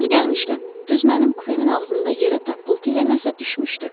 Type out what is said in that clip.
Yeri gəlmişkən, düz mənim kupemin ağzında yerə tappıltı ilə nəsə düşmüşdü.